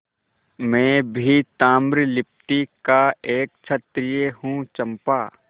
मैं भी ताम्रलिप्ति का एक क्षत्रिय हूँ चंपा